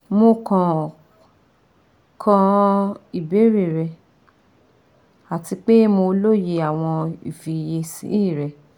Mo kan ka ibeere rẹ ati pe mo loye awọn ifiyesi rẹ